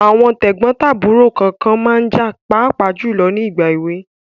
Àwọn tẹ̀gbọ́n tàbúrò kànkan ma ń jà pàápàá jùlọ ní ìgbà èwe.